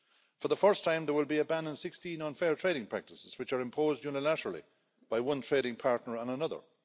For the first time, there will be a ban on 16 unfair trading practices which are imposed unilaterally by one trading partner on another.